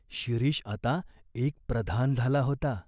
शिरीष आता एक प्रधान झाला होता.